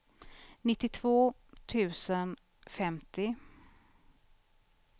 nittiotvå tusen femtio